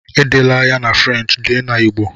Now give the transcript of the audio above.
Edela ya na French, dee na Igbo!